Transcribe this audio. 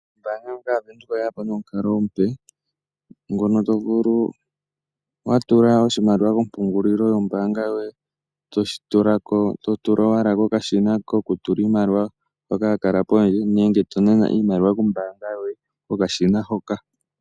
Ombaanga yaVenduka oye yapo nomukalo omupe ngono tovulu watula oshimaliwa kompungulilo yombaanga yoye, toshi tulako totula owala kokashina koku tula iimaliwa hoka ha ka kala owala pondje, nenge tonana iimaliwa kombaanga yoye kokashina hoka.